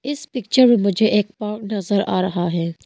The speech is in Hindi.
पिक्चर में मुझे एक पार्क नजर आ रहा है।